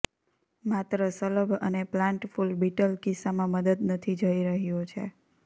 માત્ર શલભ અને પ્લાન્ટ ફૂલ બીટલ કિસ્સામાં મદદ નથી જઈ રહ્યું છે